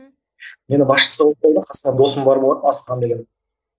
мені басшысы қылып қойды қасымда досым бар болатын асылхан деген